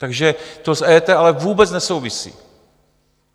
Takže to s EET ale vůbec nesouvisí.